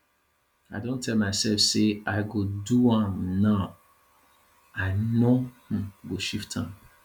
i don tell mysef sey i go do am now i no um go shift am